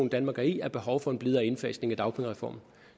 danmark er i er behov for en blidere indfasning af dagpengereformen